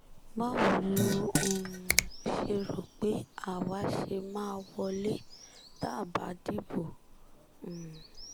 báwo lo um ṣe rò pé àwa ṣe máa wọlé tá a bá dìbò um